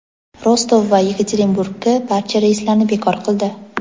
Rostov va Yekaterinburgga barcha reyslarni bekor qildi.